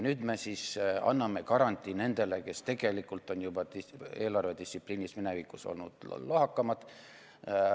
Nüüd me anname garantii nendele, kes tegelikult on eelarvedistsipliiniga juba minevikus olnud lohakamad.